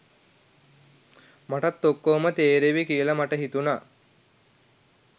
මටත් ඔක්කොම තේරේවි කියලා මට හිතුනා.